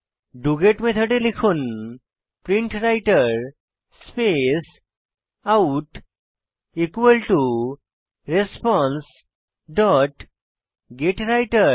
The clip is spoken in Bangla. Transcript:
ডগেট মেথডে লিখুন প্রিন্টরাইটের স্পেস আউট রেসপন্সে ডট গেত্বৃতের